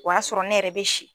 O y'a sɔrɔ ne yɛrɛ be si